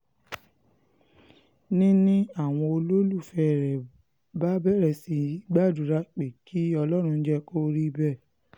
ni ni àwọn olólùfẹ́ rẹ bá bẹ̀rẹ̀ sí í gbàdúrà pé kí ọlọ́run jẹ́ kó rí bẹ́ẹ̀